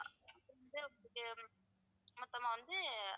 மொத்தமா வந்து